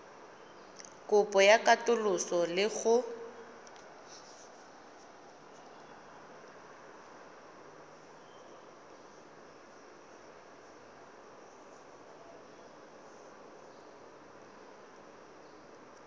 kopo ya katoloso le go